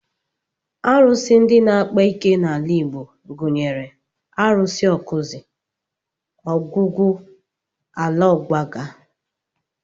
Arụsị ndị na-akpa ike n'ala Igbo gụnyere Arụsị Awkuzu, ogwugwu, ala ọgbaga